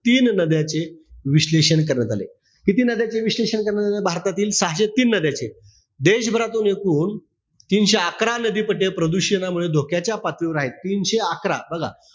तीन नद्यांचे विश्लेषण करण्यात आलय. किती नद्यांचे विश्लेषण करण्यात भारतातातील सहाशे तीन नद्यांचे. देशभरातून एकूण तीनशे अकरा नदी पट्टे प्रदूषणामुळे धोक्याच्या पातळीवर आहे. तीनशे अकरा बघा.